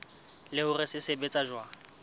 le hore se sebetsa jwang